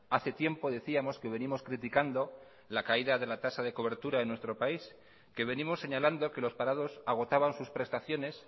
hace tiempo decíamos que venimos criticando la caída de la tasa de cobertura en nuestro país que venimos señalando que los parados agotaban sus prestaciones